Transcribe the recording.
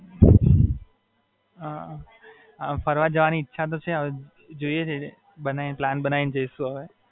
ફરવા જવાની ઈચ્છા તો છે હવે જોઈએ છીએ, પ્લાન બનાઈને જઈશું હવે.